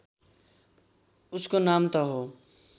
उसको नाम त हो